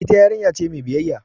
Ita yarinya ce mai biyayya.